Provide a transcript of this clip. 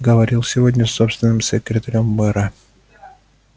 говорил сегодня с собственным секретарём мэра